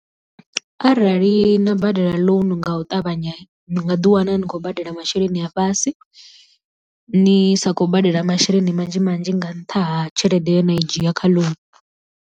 Arali na badela ḽounu nga u ṱavhanya ni nga ḓi wana ni khou badela masheleni a fhasi ni sa khou badela masheleni manzhi manzhi nga nṱha ha tshelede ye na i dzhia kha ḽounu.